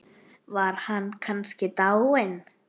Var hann kannski dáinn?